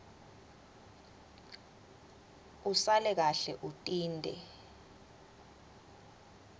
usale kahle utinte